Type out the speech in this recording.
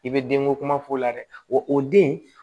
I bɛ denko kuma f'o la dɛ wa o den